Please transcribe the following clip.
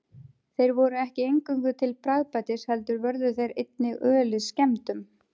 Þeir voru ekki eingöngu til bragðbætis heldur vörðu þeir einnig ölið skemmdum.